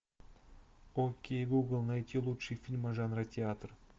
окей гугл найти лучшие фильмы жанра театр